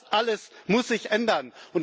Das alles muss sich ändern.